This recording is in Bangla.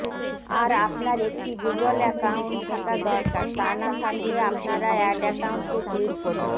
আর আপনার একটি গুগল অ্যাকাউন্ট থাকা দরকার তা না থাকলে আপনারা অ্যাড অ্যাকাউন্টে ক্লিক করুন